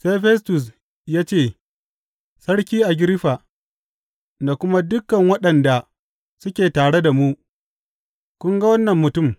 Sai Festus ya ce, Sarki Agiriffa, da kuma dukan waɗanda suke tare da mu, kun ga wannan mutum!